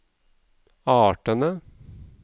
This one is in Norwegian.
artene